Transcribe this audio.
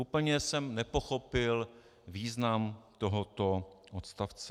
Úplně jsem nepochopil význam tohoto odstavce.